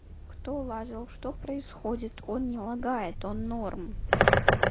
кто лазил что происходит он не лагает он норм